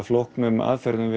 flóknum aðferðum